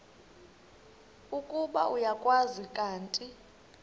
ukuba uyakwazi kanti